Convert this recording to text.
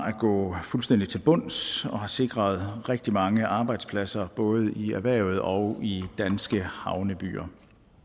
at gå fuldstændig til bunds og har sikret rigtig mange arbejdspladser både i erhvervet og i danske havnebyer